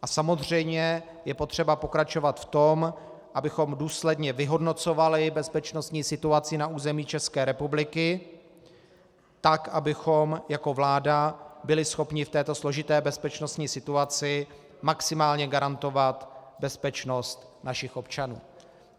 A samozřejmě je potřeba pokračovat v tom, abychom důsledně vyhodnocovali bezpečnostní situaci na území České republiky, tak abychom jako vláda byli schopni v této složité bezpečnostní situaci maximálně garantovat bezpečnost našich občanů.